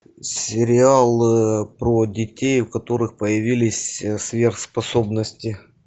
сериал про детей у которых появились сверхспособности